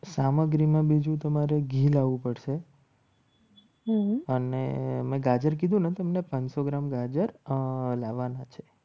સામગ્રીમાં બીજું તમારે ઘી લાવવું પડશે અને અમે ગાજર કીધું ને તમને પાંચ સો ગ્રામ ગાજર લાવવાના છે.